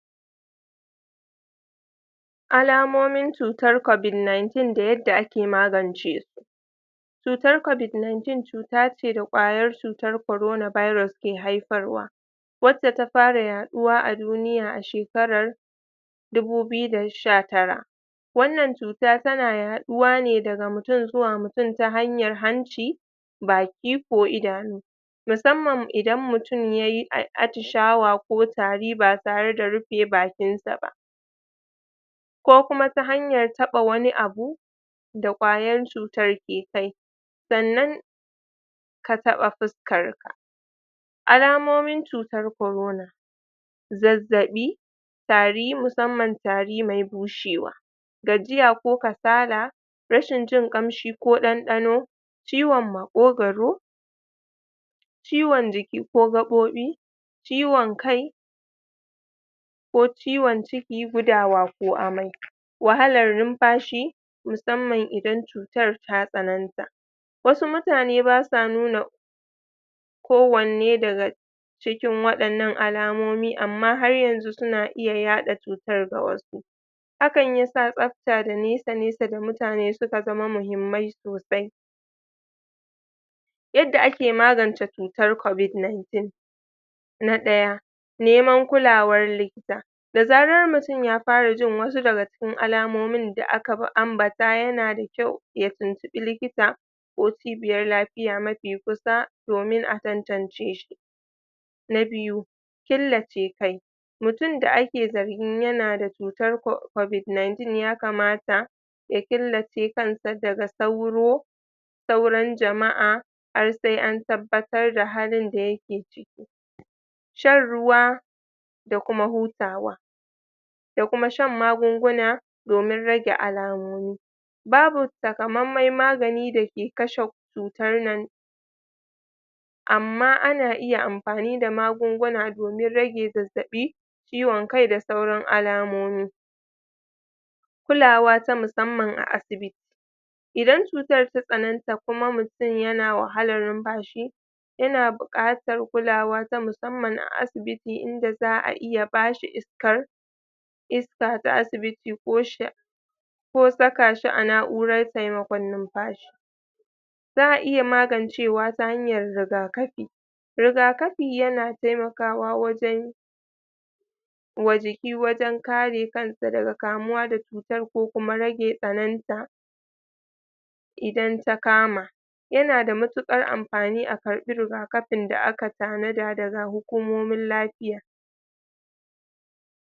alamomin cutar covid nineteen da yadda ake magance su cutar covid nineteen cutace ce da kwayar cutar corona birus ke haifarwa wacce ta fara yaduwa aduniya a shekarar dubu biyu da sha tara wannan cuta tana yaduwa ne daga mutum zuwa mutum ta hanyar hanci baki ko idanu musamman idan mutum yayi atishawa ko tari ba tare rufe bakin sa ba ko kuma ta hanyar taba wani abu da kwayar cutan ke kai sannan ka taba fuskanka alamomin cutar corona zazzabi tari musamman tari me bushewa gajiya ko kasala rashin jin kamshi ko dandano ciwon makwogaro ciwon jiki ko gabobi ciwon kai' ko ciwon ciki ko gudawa ko amai wahalar numfashi musamman idan cutar ta tsananta wasu mutane basa nuna ko wanne daga daga cikin wadannan alamomi amma har yanzu suna iya yada cutar ga wasu hakan yasa tsabta da nesa nesa ga mutane suka zama mahimmai sosai yadda ake magance cutar covid nineteen na daya neman kulawar likita da zarar mutum ya fara jin wasu daga cikin alamomin da aka ambata yana da kyau ya tuntubi likita ko cibiyar lafiya mafi kusa domin a tantanceshi na biyu killace kai mutum da ake zargin yana da cutar covid nineteen ya kamata ya killace kan sa daga sauro sauran jama'a har sai an tabbatar da halin da yake shan ruwa da kuma hutawa da kuma shan magunguna domin rage alamomi babu taka maimai magani da ke kashe cutan nan amma ana iya amfani da magunguna domin rage zazzabii ciwon kai da sauran alamomi kulawa ta musamman a asibiti idan cutan ta tsananta kuma mutum yana wahalar numfashi yana bukatar kulawa ta musamman a asibiti inda zaa iya bashi iskar iska ta asibiti ko sha ko saka shi a na'uran taimakon numfashi zaa iya magancewa ta hanyan rigakafi rigakafi yana taimakawa wajen wa jiki wajen kare kansa daga kamuwa da cutar ko kuma rage tsananta idan ta kama yana da matukar amfani a karbi rigakafin da aka tanada daga hukumomin lafiya